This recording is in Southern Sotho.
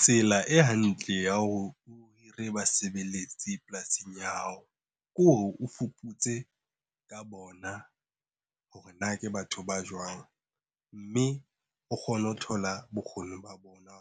Tsela e hantle ya hore o hire basebeletsi polasing ya hao ke hore o fuputse ka bona hore na ke batho ba jwang. Mme o kgone ho thola bokgoni ba bona